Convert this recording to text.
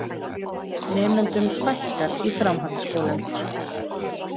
Nemendum fækkar í framhaldsskólum